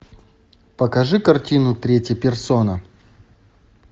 покажи картину третья персона